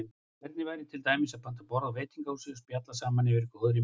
Hvernig væri til dæmis að panta borð á veitingahúsi og spjalla saman yfir góðri máltíð?